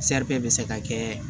bɛ se ka kɛ